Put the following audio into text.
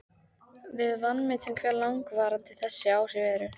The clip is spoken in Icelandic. Við vanmetum hve langvarandi þessi áhrif eru.